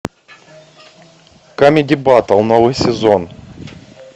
камеди баттл новый сезон